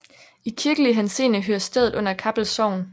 I kirkelig henseende hører stedet under Kappel Sogn